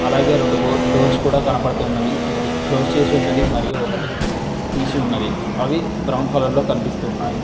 అలాగే రెండు డొ డోర్స్ కూడా కనపడుతున్నవి ఒకటి క్లోజ్ చేసి ఉన్నది మరియు ఒకటి తీసి ఉన్నది అవి బ్రౌన్ కలర్ లో కనిపిస్తూ ఉన్నాయి.